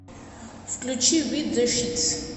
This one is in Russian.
включи вит зе шитс